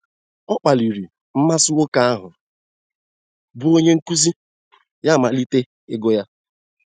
Ọ kpaliri mmasị nwoke ahụ bụ́ onye nkuzi, ya amalite ịgụ ya.